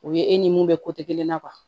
O ye e ni mun bɛ kelen na